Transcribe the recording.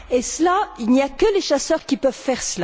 Cela, il n'y a que les chasseurs qui peuvent le faire.